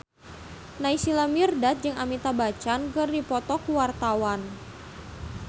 Naysila Mirdad jeung Amitabh Bachchan keur dipoto ku wartawan